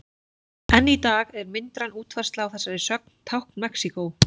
Enn í dag er myndræn útfærsla á þessari sögn tákn Mexíkó.